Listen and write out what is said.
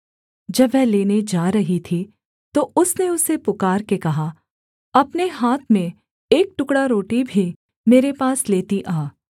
जब वह लेने जा रही थी तो उसने उसे पुकारके कहा अपने हाथ में एक टुकड़ा रोटी भी मेरे पास लेती आ